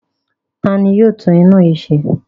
Ta ni yóò tún iná yìí ṣe?